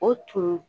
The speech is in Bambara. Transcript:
O tun